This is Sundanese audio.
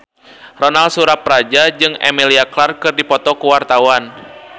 Ronal Surapradja jeung Emilia Clarke keur dipoto ku wartawan